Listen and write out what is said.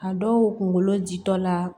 A dɔw kunkolo jitɔ la